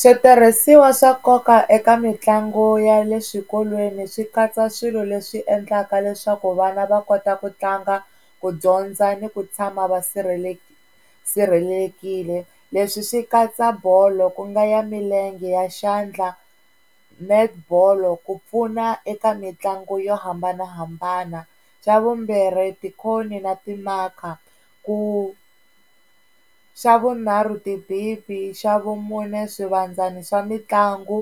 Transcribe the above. Switirhisiwa swa nkoka eka mitlangu ya le swikolweni swi katsa swilo leswi endlaka leswaku vana va kota ku tlanga, ku dyondza ni ku tshama va sirhelelekile leswi swi katsa bolo ku nga ya milenge, ya xandla, net ball ku pfuna eka mitlangu yo hambanahambana, xa vumbirhi ti-cone-i na ti-marker ku, xa vunharhu ti xa vumune swivandzani swa mitlangu,